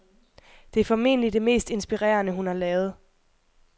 De er formentlig det mest inspirerede hun har lavet.